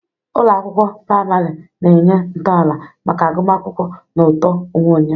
Ụlọ akwụkwọ praịmarị na-enye ntọala maka agụmakwụkwọ na uto onwe onye.